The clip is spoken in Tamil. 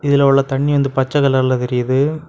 இதில உள்ள தண்ணி வந்து பச்சை கலர்ல தெரியிது.